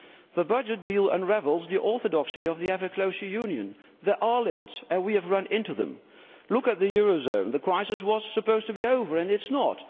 The budget deal unravels the orthodoxy of the ever closer Union. There are limits, and we have run into them. Look at the eurozone. The crisis was supposed to be over and it is not.